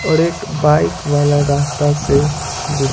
और एक बाइक वाला रास्ता से गुजर--